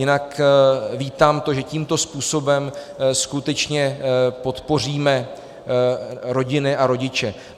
Jinak vítám to, že tímto způsobem skutečně podpoříme rodiny a rodiče.